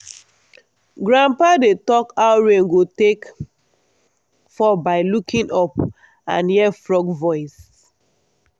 grandpa dey talk how rain go take fall by looking up and hear frog voice.